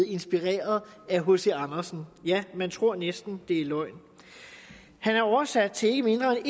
inspireret af hc andersen ja man tror næsten at det er løgn han er oversat til ikke mindre end